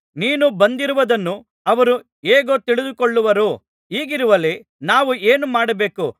ನೀನು ಬಂದಿರುವುದನ್ನು ಅವರು ಹೇಗೂ ತಿಳಿದುಕೊಳ್ಳುವರು ಹೀಗಿರುವಲ್ಲಿ ನಾವು ಏನು ಮಾಡಬೇಕು